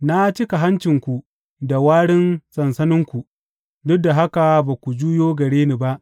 Na cika hancinku da warin sansaninku, duk da haka ba ku juyo gare ni ba